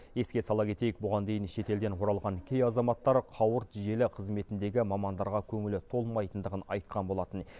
еске сала кетейік бұған дейін шетелден оралған кей азаматтар қауырт желі қызметіндегі мамандарға көңілі толмайтындығын айтқан болатын